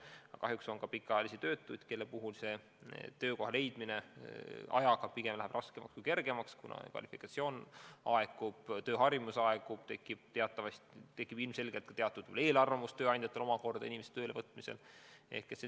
Aga kahjuks on ka pikaajalisi töötuid, kelle puhul töökoha leidmine aja jooksul pigem läheb raskemaks kui kergemaks, kuna nende kvalifikatsioon aegub, tööharjumus kaob ja ilmselgelt põhjustab see tööandjatel selliste inimeste tööle võtmisel eelarvamusi.